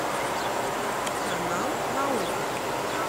канал наука